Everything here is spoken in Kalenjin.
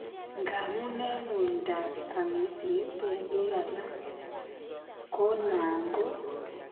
Ngamun en uindap amisiet en biik alak , ko nan ko